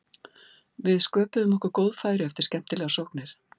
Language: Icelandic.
Við sköpuðum okkur góð færi eftir skemmtilegar sóknir.